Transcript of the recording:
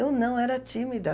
Eu não, era tímida.